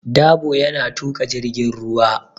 Dabo yana tuƙa jirgin ruwa.